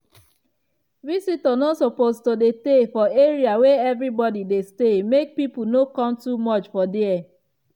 visitor no suppose to dey tey for area wey everybody dey stay make people no come too much for dia.